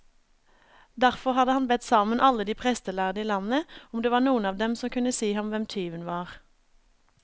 Derfor hadde han bedt sammen alle de prestlærde i landet, om det var noen av dem som kunne si ham hvem tyven var.